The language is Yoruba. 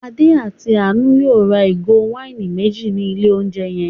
Adé àti Àánú yóò ra ìgò wáìnì méjì ní ilé-oúnjẹ yẹn.